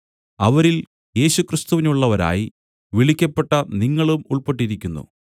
അവരിൽ യേശുക്രിസ്തുവിനുള്ളവരായി വിളിക്കപ്പെട്ട നിങ്ങളും ഉൾപ്പെട്ടിരിക്കുന്നു